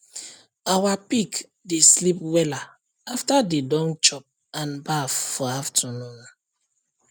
our pig dey sleep wella after dey don chop and baff for afternoon